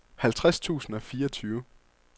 halvtreds tusind og fireogtyve